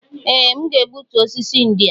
Ee! M ga-egbutu osisi ndị a.